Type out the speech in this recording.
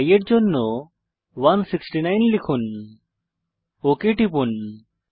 i এর জন্য 169 লিখুন ওক টিপুন